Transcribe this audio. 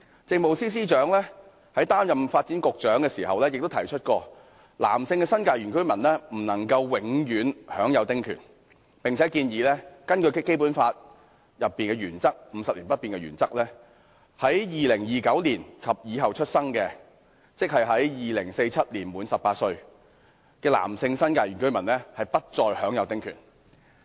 政務司司長在擔任發展局局長期間指出，男性新界原居民不能永享丁權，並建議以《基本法》確保香港生活方式50年不變的原則為丁權訂立期限，規定在2029年後出生的男性新界原居民不再享有丁權。